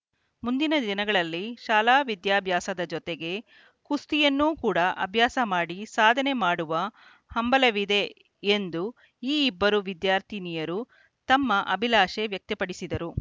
ಮುಂದಿನ ದಿನಗಳಲ್ಲಿ ಶಾಲಾ ವಿದ್ಯಾಭ್ಯಾಸದ ಜೊತೆಗೆ ಕುಸ್ತಿಯನ್ನೂ ಕೂಡಾ ಅಭ್ಯಾಸ ಮಾಡಿ ಸಾಧನೆ ಮಾಡುವ ಹಂಬಲವಿದೆ ಎಂದು ಈ ಇಬ್ಬರೂ ವಿದ್ಯಾರ್ಥಿನಿಯರು ತಮ್ಮ ಅಭಿಲಾಷೆ ವ್ಯಕ್ತಪಡಿಸಿದರು